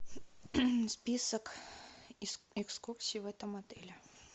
список экскурсий в этом отеле